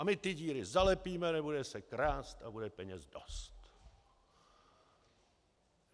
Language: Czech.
A my ty díry zalepíme, nebude se krást a bude peněz dost.